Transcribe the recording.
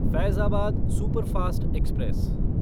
Faizabad superfast express